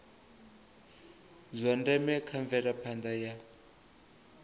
zwa ndeme kha mvelaphanda ya